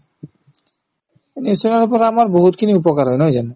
news channel ৰ পৰা আমাৰ বহুতখিনি উপকাৰ হয় নহয় জানো